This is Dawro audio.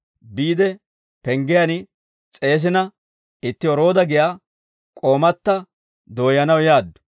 biide penggiyaan s'eesina, itti Roodo giyaa k'oomata dooyyanaw yaaddu.